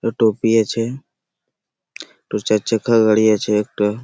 টোপি আছে। চার চাকা গাড়ি আছে একটা।